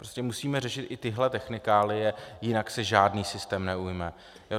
Prostě musíme řešit i tyhle technikálie, jinak se žádný systém neujme.